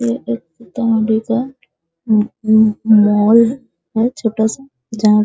ये एक उम्म उम्म मॉल है छोटा सा जहाँ --